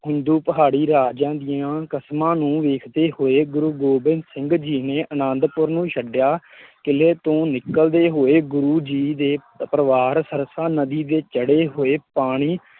ਹਿੰਦੂ ਪਹਾੜੀ ਰਾਜਿਆਂ ਦੀਆਂ ਕਸਮਾਂ ਨੂੰ ਵੇਖਦੇ ਹੋਏ ਗੁਰੂ ਗੋਬਿੰਦ ਸਿੰਘ ਜੀ ਨੇ ਅਨੰਦਪੁਰ ਨੂੰ ਛੱਡਿਆਂ, ਕਿਲ੍ਹੇ ਤੋਂ ਨਿਕਲਦੇ ਹੋਏ ਗੁਰੂ ਜੀ ਦੇ ਪਰਿਵਾਰ ਸਰਸਾ ਨਦੀ ਦੇ ਚੜ੍ਹੇ ਹੋਏ ਪਾਣੀ